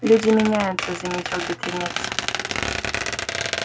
люди меняются заметил бедренец